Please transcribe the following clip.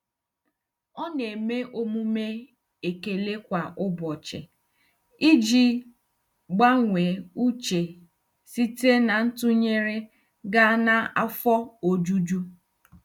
Ọ na-eme omume ekele kwa ụbọchị iji gbanwee uche site na ntụnyere gaa na afọ ojuju.